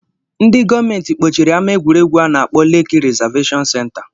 Ndị gọọmenti kpochiri ama egwuregwu a na-akpọ ‘lekki reservation center’